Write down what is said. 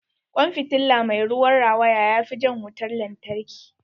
Kwan fitilla mai ruwan rawaya ya fi jan wutar lantarki.